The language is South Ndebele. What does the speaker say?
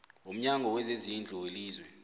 womnyango wezezindlu welizwe